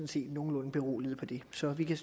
set nogenlunde beroliget af det så vi kan